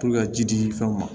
ka ji di fɛnw ma